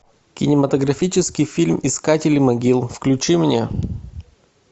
кинематографический фильм искатели могил включи мне